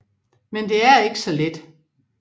Men det er ikke så let